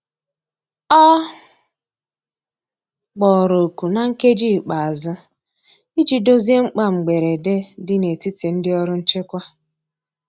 Ọ kpọrọ oku na nkeji ikpeazu ịjị dozie mkpa mgberede di n'etiti ndi ọrụ nchekwa